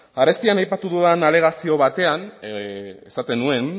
arestian aipatu dudan alegazio batean esaten nuen